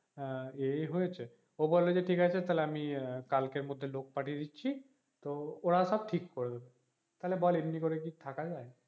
হ্যাঁ এ হয়েছে ওহ বলে যে ঠিক আছে তাহলে আমি আহ কালকের মধ্যে লোক পাঠিয়ে দিচ্ছি তো ওরা সব ঠিক করে দেবে তাহলে বল এমনি করে কি থাকা যায়,